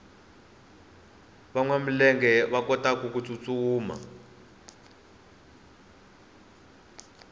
vanwa milenge va kotaku tsutsuma